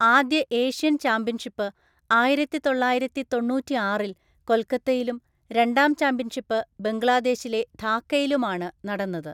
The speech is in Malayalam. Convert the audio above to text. ആദ്യ ഏഷ്യൻ ചാമ്പ്യൻഷിപ്പ് ആയിരത്തിതൊള്ളായിരത്തിതൊണ്ണൂറ്റാറില്‍ കൊൽക്കത്തയിലും രണ്ടാം ചാമ്പ്യൻഷിപ്പ് ബംഗ്ലാദേശിലെ ധാക്കയിലുമാണ് നടന്നത്.